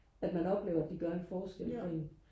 at man oplever at de gør en forskel for en